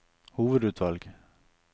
hovedutvalg